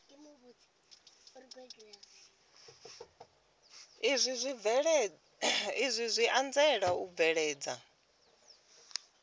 izwi zwi anzela u bveledza